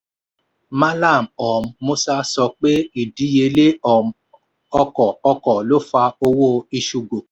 malam um musa sọ pé ìdíyelé um ọkọ̀ ọkọ̀ lò fa owó iṣu gòkè.